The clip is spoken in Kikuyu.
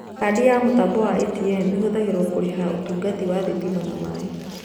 Kandi ya mũtambo wa ATM ĩhũthagĩrwo kũrĩha ũtungata wa thitima na maaĩ